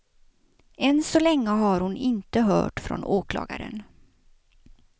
Än så länge har hon inte hört från åklagaren.